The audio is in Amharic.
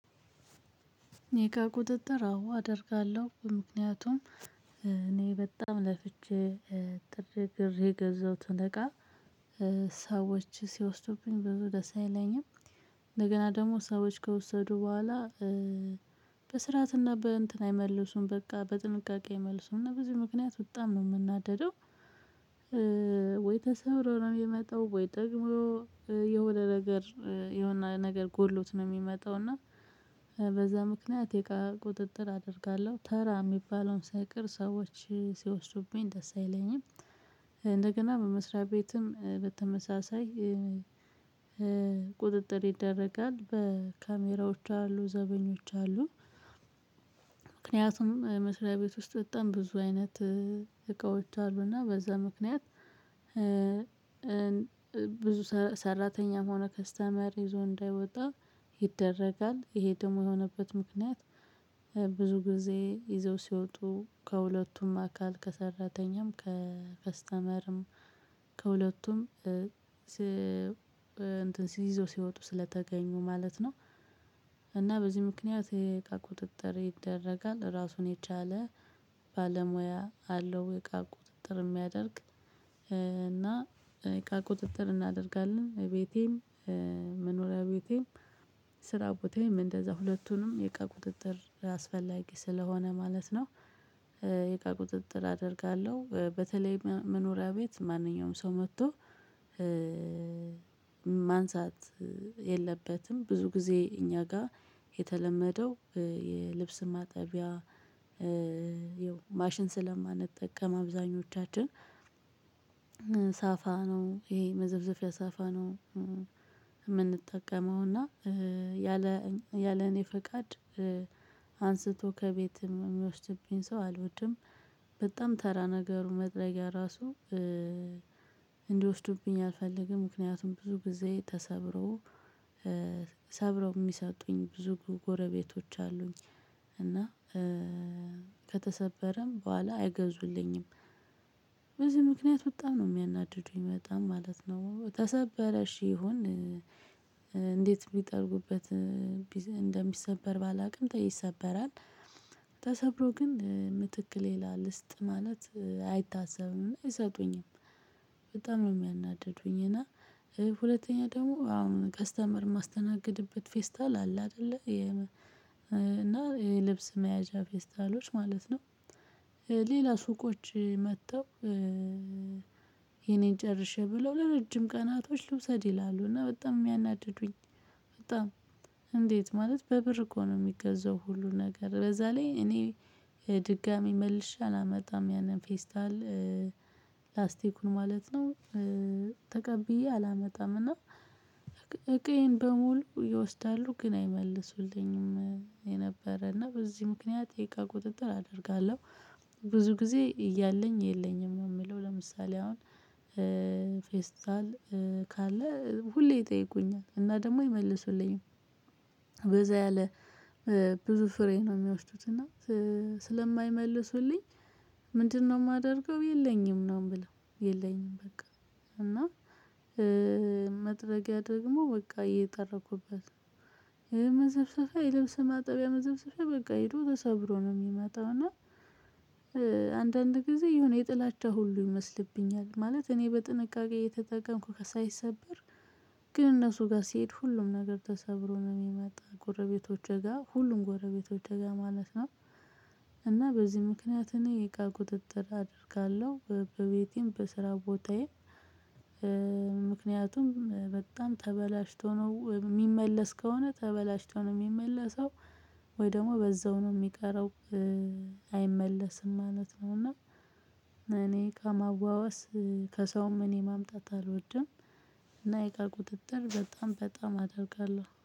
የእቃ ቁጥጥር አዎ አደርጋለሁ። ምክንያቱም እኔ በጣም ለፍቼ ጥሬ ግሬ የገዛሁትን እቃ ሰዎች ሲወስዱብኝ ብዙ ደስ አይለኝም። እንደገና ደግሞ ሰዎች ከወሰዱ በኋላ በስርዓትና በእንትን አይመልሱም። በቃ በጥንቃቄ አይመልሱም። እና በዚህ ምክንያት በጣም ነው የምናደደው ወይ ተሰብሮ ነው የሚመጣው ወይ ደግሞ የሆነ ነገር የሆነ ነገር ጎሎት ነው የሚመጣው እና በዛ ምክንያት የእቃ ቁጥጥር አደርጋለሁ። ተራ የሚባለውን ሳይቀር ሰዎች ሲወስዱብኝ ደስ አይለኝም። እንደገና በመስሪያ ቤትም በተመሳሳይ ቁጥጥር ይደረጋል። በካሜራዎች አሉ። ዘበኞች አሉ። ምክንያቱም መስሪያ ቤት ውስጥ በጣም ብዙ አይነት እቃዎች አሉ። እና በዛ ምክንያት ብዙ ሰራተኛ ሆኖ ከስተመር ይዞ እንዳይወጣ ይደረጋል። ይሄ ደግሞ የሆነበት ምክንያት ብዙ ጊዜ ይዘው ሲወጡ ከሁለቱም አካል ከሰራተኛም ከስተመርም ከሁለቱም እንትን ይዘው ሲወጡ ስለተገኙ ማለት ነው። እና በዚህ ምክንያት የእቃ ቁጥጥር ይደረጋል። ራሱን የቻለ ባለሙያ አለው እቃ ቁጥጥር የሚያደርግ። እና እቃ ቁጥጥር እናደርጋለን። ቤቴም መኖሪያ ቤቴም ስራ ቦታዬም እንደዛ ሁለቱንም የቃ ቁጥጥር አስፈላጊ ስለሆነ ማለት ነው። የቃ ቁጥጥር አደርጋለሁ። በተለይ መኖሪያ ቤት ማንኛውም ሰው መጥቶ ማንሳት የለበትም። ብዙ ጊዜ እኛ ጋር የተለመደው የልብስ ማጠቢያ የው ማሽን ስለማንጠቀም አብዛኞቻችን ሳፋ ነው ይሄ መዘፍዘፊያ ሳፋ ነው የምንጠቀመው። እና ያለ ያለ እኔ ፈቃድ አንስቶ ከቤት የሚወስድብኝ ሰው አልወድም። በጣም ተራ ነገሩ መጥረጊያ ራሱ እንዲወስዱብኝ አልፈልግም። ምክንያቱም ብዙ ጊዜ ተሰብሮ ሰብረው የሚሰጡኝ ብዙ ጎረቤቶች አሉኝ። እና ከተሰበረም በኋላ አይገዙልኝም። በዚህ ምክንያት በጣም ነው የሚያናድዱኝ በጣም ማለት ነው። ተሰበረ እሽ ይሁን እንዴት ቢጠርጉበት እንደሚሰበር ባላውቅም ይሰበራል። ተሰብሮ ግን ምትክ ሌላ ልስጥ ማለት አይታሰብም። አይሰጡኝም። በጣም ነው የሚያናድዱኝ። እና ሁለተኛ ደግሞ አሁን ከስተመር የማስተናግድበት ፌስታል አለ አይደለ፤ እና የልብስ መያዣ ፌስታሎች ማለት ነው። ሌላ ሱቆች መጥተው የኔን ጨርሼ ብለው ለረጅም ቀናቶች ልውሰድ ይላሉ። እና በጣም የሚያናድዱኝ በጣም እንዴት ማለት በብር እኮ ነው የሚገዛው ሁሉ ነገር። በዛ ላይ እኔ ድጋሚ መልሸ አላመጣም ያንን ፌስታል ላስቲኩን ማለት ነው። ተቀብዬ አላመጣም እና እቃየን በሙሉ ይወስዳሉ ግን አይመልሱልኝም የነበረ። እና በዚህ ምክንያት የእቃ ቁጥጥር አደርጋለሁ። ብዙ ጊዜ እያለኝ የለኝም ነው የምለው። ለምሳሌ አሁን ፌስታል ካለ ሁሌ ይጠይቁኛል። እና ደግሞ ይመልሱልኝም። በዛ ያለ ብዙ ፍሬ ነው የሚወስዱት እና ስለማይመልሱልኝ ምንድነው የማደርገው የለኝም ነው የምለው። የለኝም በቃ። እና መጥረጊያ ደግሞ በቃ እየጠረኩበት ነው። መዘፍዘፊያ የለብሰ ማጠቢያ መዘፍዘፊያ በቃ ሄዶ ተሰብሮ ነው የሚመጣው። እና አንዳንድ ጊዜ የሆነ የጥላቻ ሁሉ ይመስልብኛል። ማለት እኔ በጥንቃቄ እየተጠቀምኩ ከሳይሰብር ግን እነሱ ጋር ሲሄድ ሁሉም ነገር ተሰብሮ ነው የሚመጣ ጎረቤቶች እጋ ሁሉም ጎረቤቶች ጋ ማለት ነው። እና በዚህ ምክንያት እኔ የእቃ ቁጥጥር አደርጋለሁ። በቤቴም በስራ ቦታዬም ምክንያቱም በጣም ተበላሽቶ ነው የሚመለስ ከሆነ ተበላሽቶ ነው የሚመለሰው። ወይ ደግሞ በዛው ነው የሚቀረው አይመለስም ማለት ነው። እና እኔ ከመዋዋስ ከሰውም እኔ ማምጣት አልወድም። እና የእቃ ቁጥጥር በጣም በጣም አደርጋለሁ።